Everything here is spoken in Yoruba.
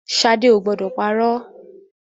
Ṣadé o ò gbọdọ̀ parọ́.